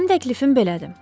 Mənim təklifim belədir.